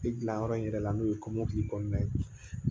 E dilanyɔrɔ in yɛrɛ la n'o ye kɔmɔkili kɔnɔna ye